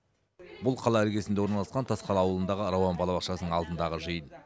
бұл қала іргесінде орналасқан тасқала ауылындағы рауан балабақшасының алдындағы жиын